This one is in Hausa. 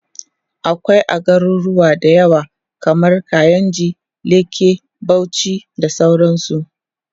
akwai a garuruwa da yawa kaman kainji, lekki, Bauchi da sauransu